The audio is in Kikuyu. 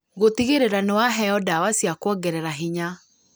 Gũtigĩrĩra nĩ waheo ndawa cia kuongerera hinya